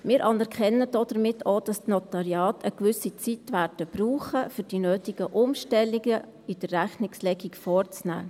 Wir anerkennen damit auch, dass die Notariate eine gewisse Zeit brauchen werden, um die notwendigen Umstellungen bei der Rechnungslegung vorzunehmen.